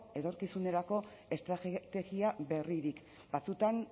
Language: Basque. etorkizunerako estrategia berririk batzuetan